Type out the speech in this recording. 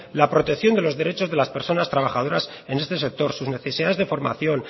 la protección de los derechos de las personas trabajadoras en este sector sus necesidades de formación